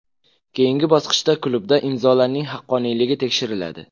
Keyingi bosqichda klubda imzolarning haqqoniyligi tekshiriladi.